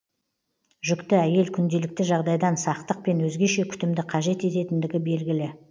жүкті әйел күнделікті жағдайдан сақтық пен өзгеше күтімді қажет ететіндігі белгілі